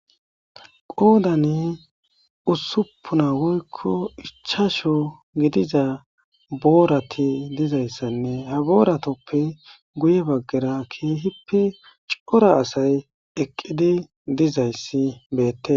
qoodane usupuna woykko ichasho gidiza boorati dizayssanne ha booratoppe guye baggera keehippe cora asay eqqidi dizayssi beette